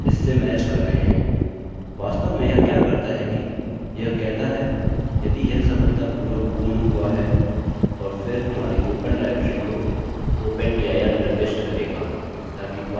वास्तव में यह क्या करता है कि यह कहता है यदि यह सफलतापूर्वक पूर्ण हुआ है और फिर हमारी ओपन डाइरेक्टरी को open dir निर्दिष्ट करेगा ताकि बाद में हम इसमें बदलाव कर सकें